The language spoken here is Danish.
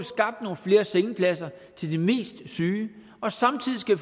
vi flere sengepladser til de mest syge og samtidig skal